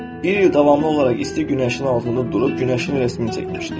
Bir il davamlı olaraq isti günəşin altında durub günəşin rəsmini çəkmişdi.